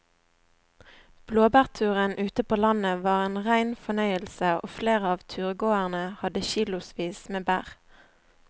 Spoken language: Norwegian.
Blåbærturen ute på landet var en rein fornøyelse og flere av turgåerene hadde kilosvis med bær.